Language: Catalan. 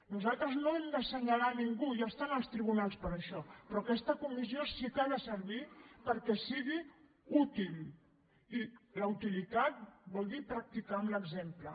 nosaltres no hem d’assenyalar ningú ja estan els tribunals per a això però aquesta comissió sí que ha de servir perquè sigui útil i la utilitat vol dir practicar amb l’exemple